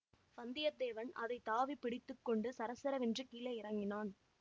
வந்தியத்தேவன் அதை தாவி பிடித்து கொண்டு சரசரவென்று கீழே இறங்கினான்